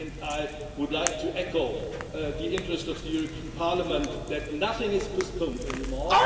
And I would like to echo the interest of the European Parliament that nothing is postponed any more.